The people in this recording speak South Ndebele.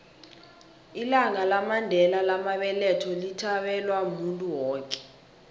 ilanga lamandela lamabeletho lithabelwa muntu woke